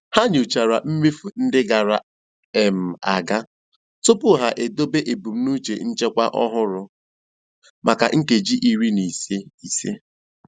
Ha nyochara mmefu ndị gara um aga tupu ha edobe ebumnuche nchekwa ọhụrụ maka nkeji iri na ise. ise.